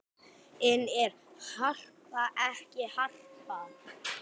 En er Harpa ekki Harpa?